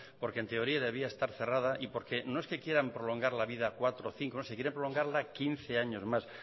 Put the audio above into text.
porque en teoría debería de estar cerrada y porque no es que quieran prolongar la vida cuatro cinco o es que la quieren prolongar quince años más